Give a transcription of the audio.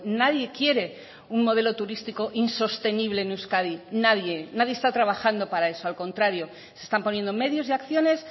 nadie quiere un modelo turístico insostenible en euskadi nadie nadie está trabajando para eso al contrario se están poniendo medios y acciones